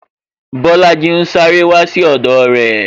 Bolaji ń sáré wá sí ọdọ re